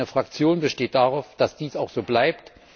Meine Fraktion besteht darauf, dass dies auch so bleibt.